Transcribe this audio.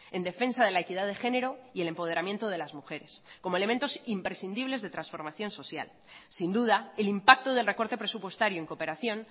en defensa de la equidad de genero y el empoderamiento de las mujeres como elementos imprescindibles de transformación social sin duda el impacto del recorte presupuestario en cooperación